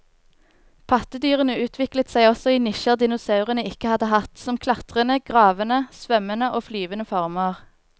Pattedyrene utviklet seg også i nisjer dinosaurene ikke hadde hatt, som klatrende, gravende, svømmende og flyvende former.